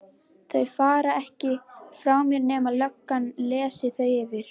Þau fara ekki frá mér nema löggan lesi þau yfir.